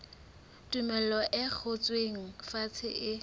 tumello e ngotsweng fatshe e